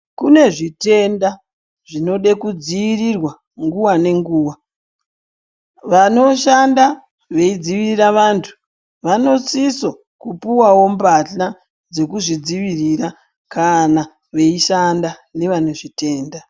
Kune zvitenda zvinode kudzivirirwa nguwa nenguwa , vanoshanda veidzivirira vantu , vanosiso puwawo mbahla dzekuzvidzivirira kana veishanda nevanezvitenda